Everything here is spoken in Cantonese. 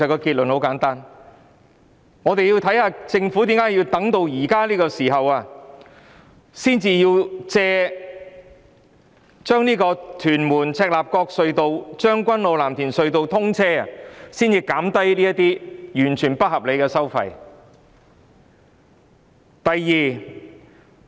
第一，我們想了解政府為何要在此時藉屯門—赤鱲角隧道及將軍澳—藍田隧道通車的機會，才減低有關的不合理收費。